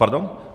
Pardon?